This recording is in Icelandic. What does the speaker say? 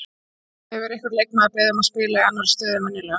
Hefur einhver leikmaður beðið um að spila í annari stöðu en venjulega?